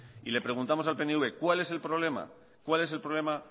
y le preguntamos al pnv cuál es el problema cuál es el problema